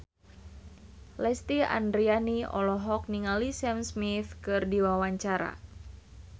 Lesti Andryani olohok ningali Sam Smith keur diwawancara